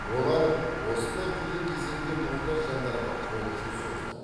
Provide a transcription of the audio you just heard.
олар осындай қиын кезеңде мұқтаж жандарға қол ұшын созды